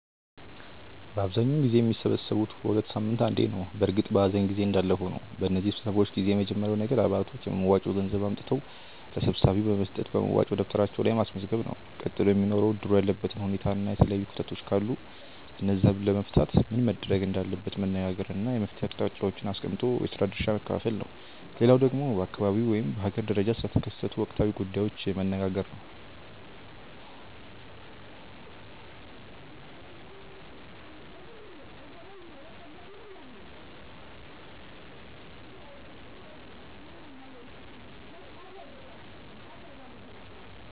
በአብዛኛውን ጊዜ የሚሰበሰቡት በ ሁለት ሳምንት አንዴ ነው በእርግጥ በኀዘን ጊዜ እንዳለ ሆኖ። በነዚህ ስብሰባዎች ጊዜ የመጀመርያው ነገር አባላቶች የመዋጮ ገንዘብ አምጥተው ለሰብሳቢው በመስጠት በመዋጮ ደብተራቸው ላይ ማስመዝገብ ነው። ቀጥሎ የሚኖረው እድሩ ያለበትን ሁኔታና የተለያዩ ክፍተቶች ካሉ እነዛን ለመፍታት ምን መደረግ እንዳለበት መነጋገር እና የመፍትሔ አቅጣጫዎችን አስቀምጦ የስራ ድርሻ መከፋፈል ነው። ሌላው ደግሞ በአካባቢው ወይም በሀገር ደረጃ ስለተከሰቱ ወቅታዊ ጉዳዮች መነጋገር ነው።